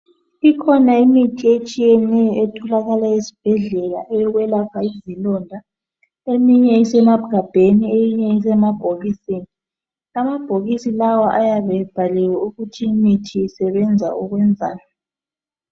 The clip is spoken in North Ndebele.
Ikhona imithi etshiyeneyo etholakala esibhedlela eyokwelapha izilonda eminye isemagabheni eyinye isemabhokisini amabhokisi lawa ayabe ebhaliwe ukuthi imithi isebenzani